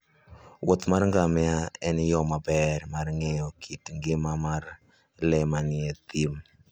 wuoth mar ngamia en yo maber mar ng'eyo kit ngima mar le manie thim.